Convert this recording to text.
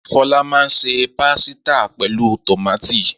Fọlá máa se pásítà pẹ̀lú tòmátì.